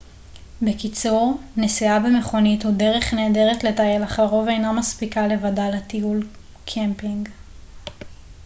בקיצור נסיעה במכונית הוא דרך נהדרת לטייל אך לרוב אינה מספיקה לבדה לטיול קמפינג